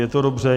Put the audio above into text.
Je to dobře?